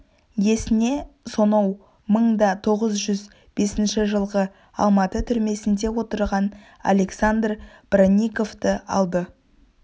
есіне соноу мың да тоғыз жүз бесінші жылғы алматы түрмесінде отырған александр бронниковты алды